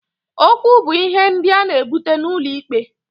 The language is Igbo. Okwu bu ihe ndị a na-ebute n'ụlọ ikpe.